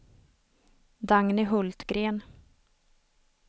Dagny Hultgren